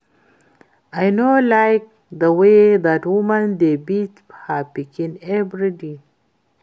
I no like the way dat woman dey beat her pikin every time